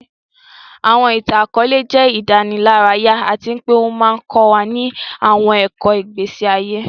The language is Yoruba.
Àwọn ìtàn-àkóòlẹ̀ jẹ ìdánilárayá àti pe o ma n kọ wa ni àwọn ẹ̀kọ́ ìgbésí ayé